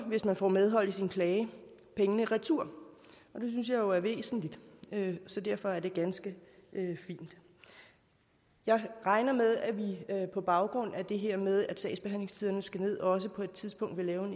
hvis man får medhold i sin klage pengene retur og det synes jeg jo er væsentligt derfor er det ganske fint jeg regner med at vi på baggrund af det her med at sagsbehandlingstiderne skal ned også på et tidspunkt vil lave